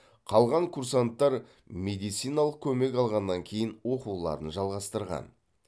қалған курсанттар медициналық көмек алғаннан кейін оқуларын жалғастырған